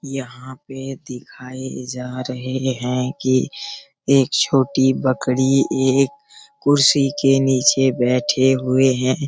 यहाँ पे दिखाए जा रहें हैं कि एक छोटी बकरी एक कुर्सी के नीचे बैठे हुए हैं।